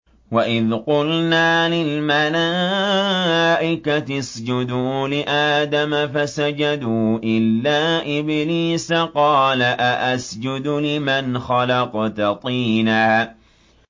وَإِذْ قُلْنَا لِلْمَلَائِكَةِ اسْجُدُوا لِآدَمَ فَسَجَدُوا إِلَّا إِبْلِيسَ قَالَ أَأَسْجُدُ لِمَنْ خَلَقْتَ طِينًا